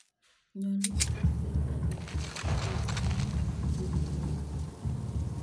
Nyolu kotees serikalit chepchechiin chemweu